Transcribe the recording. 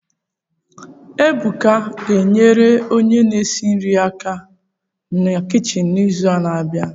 Ebuka a ga-enyere onye na-esi nri aka na kichin n'izu na-abịa